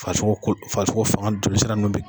Fasogo ko fasogofanga joli siran nunnu be